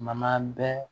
Man bɛ